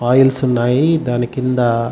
oils ఉన్నాయి.దాని కింద--